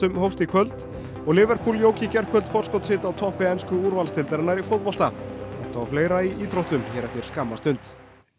hófst í kvöld og jók í gærkvöld forskot sitt á toppi ensku úrvalsdeildarinnar í fótbolta þetta og fleira í íþróttum hér eftir skamma stund